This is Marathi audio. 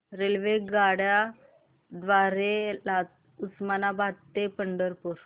रेल्वेगाड्यां द्वारे उस्मानाबाद ते पंढरपूर